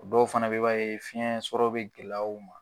O dɔw fana be yen, i b'a fiɲɛ sɔrɔ be gɛlɛya u ma.